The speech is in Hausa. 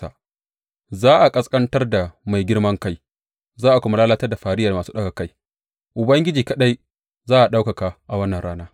Za a ƙasƙantar da mai girman kai za a kuma lalatar da fariyar masu ɗaga kai; Ubangiji kaɗai za a ɗaukaka a wannan rana.